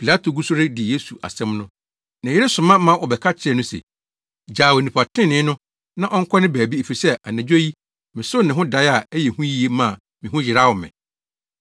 Pilato gu so redi Yesu asɛm no, ne yere soma ma wɔbɛka kyerɛɛ no se, “Gyaa onipa trenee no na ɔnkɔ ne baabi efisɛ anadwo yi, mesoo ne ho dae a ɛyɛ hu yiye maa me ho yeraw me.”